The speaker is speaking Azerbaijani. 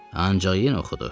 Ancaq yenə oxudu.